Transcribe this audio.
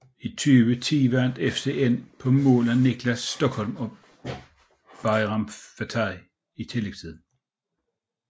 I 2010 vandt FCN på mål af Nicolai Stokholm og Bajram Fetai i tillægstiden